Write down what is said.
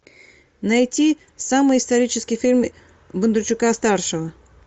найти самый исторический фильм бондарчука старшего